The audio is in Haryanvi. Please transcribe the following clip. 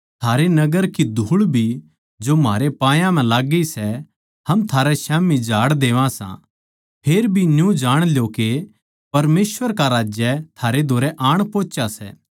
थारै नगर की धूळ भी जो म्हारे पायां म्ह लाग्गी सै हम थारै स्याम्ही झाड़ देवां सां फेरभी न्यू जाण ल्यो के परमेसवर का राज्य थारै धोरै आण पोहुच्या सै